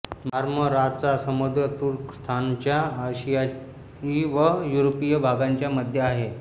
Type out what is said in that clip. मार्मराचा समुद्र तुर्कस्तानच्या आशियाई व युरोपीय भागांच्या मध्ये आहे